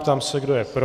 Ptám se, kdo je pro.